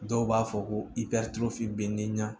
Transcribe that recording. Dɔw b'a fɔ ko bɛ n'i na